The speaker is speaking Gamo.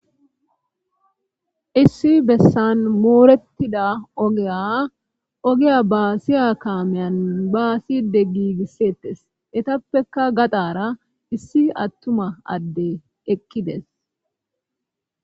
issi bessan moorettida ogeya ogiya baasiya kaameyan baaside giigissettes etappekka gaxara issi attuma adde ekkides